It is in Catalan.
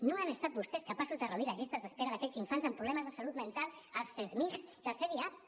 no han estat vostès capaços de reduir les llistes d’espera d’aquells infants amb problemes de salut mental als csmij i als cdiap